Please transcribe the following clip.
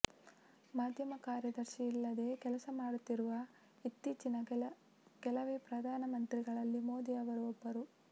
ಮಾಧ್ಯಮ ಕಾರ್ಯದರ್ಶಿಯಿಲ್ಲದೆ ಕೆಲಸ ಮಾಡುತ್ತಿರುವ ಇತ್ತೀ ಚಿನ ಕೆಲವೇ ಪ್ರಧಾನಮಂತ್ರಿಗಳಲ್ಲಿ ಮೋದಿ ಅವರೂ ಒಬ್ಬರು